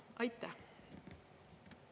Aitäh!